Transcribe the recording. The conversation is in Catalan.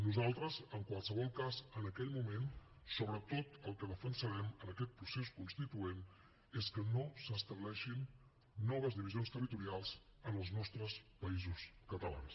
nosaltres en qualsevol cas en aquell moment sobretot el que defensarem en aquest procés constituent és que no s’estableixin noves divisions territorials en els nostres països catalans